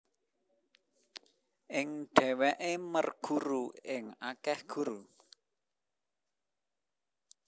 Ing dheweke merguru ing akeh guru